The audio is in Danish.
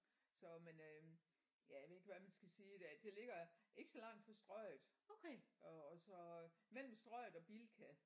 Så men øh jeg ved ikke hvad men skal sige der det ligger ikke så langt fra Strøget og så mellem Strøget og Bilka